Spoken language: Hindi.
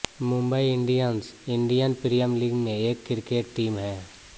Mumbai Indians Indian Premier League में एक क्रिकेट टीम है